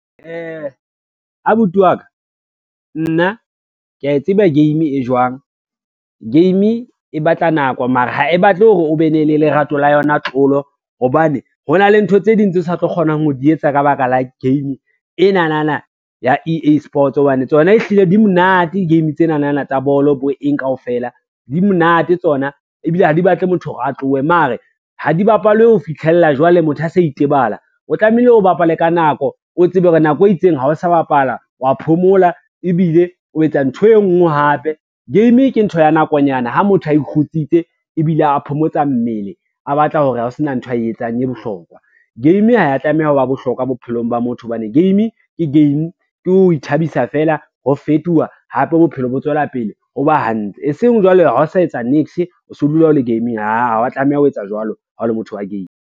Abuti wa ka, nna kea tseba game e jwang. Game e batla nako mara ha e batle hore o be ne le lerato la yona tlolo hobane, ho na le ntho tse ding tse o sa tlo kgonang ho di etsa ka baka la game enanana ya ea-sports hobane tsona e hlile di monate, di-game tsenana tsa bolo bo eng kaofela, di monate tsona ebile ha di batle motho hore a tlohe. Mare ha di bapalwe ho fitlhella jwale motho a sa itebala, o tlamehile o bapale ka nako o tsebe hore nako e itseng ha o sa bapala wa phomola, ebile o etsa ntho e ngwe hape. Game ke ntho ya nakonyana ha motho a ikgutsitse ebile a phomotsa mmele a batla ho sena ntho ae etsang e bohlokwa. Game ha ya tlameha ho wa bohlokwa bophelong ba motho hobane, game ke game ke ho ithabisa fela ho fetuwa hape bophelo bo tswela pele o ba hantle, e seng jwale ha o sa etsa niks, o se o dula o le game-ing, aa ha wa tlameha ho etsa jwalo ha o le motho wa game.